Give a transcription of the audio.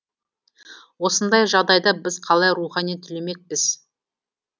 осындай жағдайда біз қалай рухани түлемекпіз